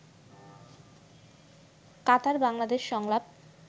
কাতার বাংলাদেশ সংলাপ